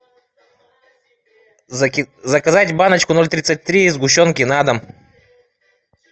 заказать баночку ноль тридцать три сгущенки на дом